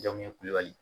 Jɔn ɲɛ kule